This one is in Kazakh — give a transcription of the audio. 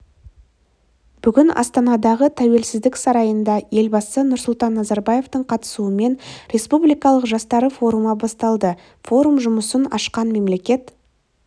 бүгін астанадағы тәуелсіздік сарайында елбасы нұрсұлтан назарбаевтың қатысуымен республикалық жастары форумы басталды форум жұмысын ашқан мемлекет